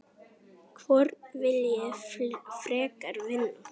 Hvorn vil ég frekar vinna?